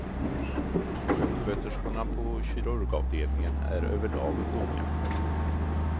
Sjuksköterskorna på kirurgavdelningen är överlag unga.